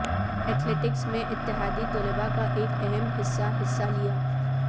athletics میں اتحادی طلباء کا ایک اہم حصہ حصہ لیا